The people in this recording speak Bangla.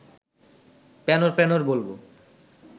প্যানর প্যানর বলব